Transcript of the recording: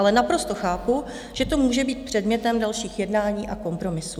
Ale naprosto chápu, že to může být předmětem dalších jednání a kompromisů.